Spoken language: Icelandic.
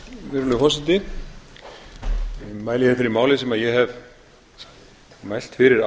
virðulegur forseti ég mæli hér fyrir máli sem ég hef mælt fyrir